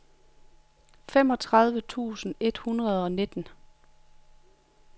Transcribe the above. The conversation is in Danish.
femogtredive tusind et hundrede og nitten